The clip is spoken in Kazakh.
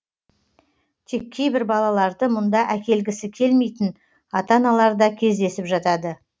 тек кейбір балаларды мұнда әкелгісі келмейтін ата аналар да кездесіп жатады